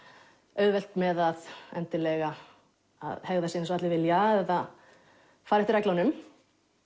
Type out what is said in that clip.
auðvelt með að að hegða sér eins og allir vilja eða fara eftir reglunum